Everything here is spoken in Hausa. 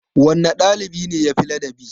Wanne ɗalibi ne yafi ladabi?